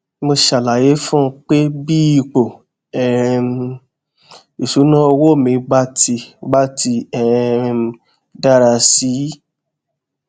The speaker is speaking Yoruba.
mo ṣàlàyé fún un pé bí ipò um ìṣúnná owó mi bá ti bá ti um dára sí i